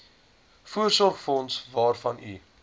voorsorgsfonds waarvan u